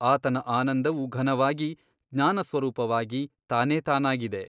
ಆತನ ಆನಂದವು ಘನವಾಗಿ ಜ್ಞಾನಸ್ವರೂಪವಾಗಿ ತಾನೇತಾನಾಗಿದೆ.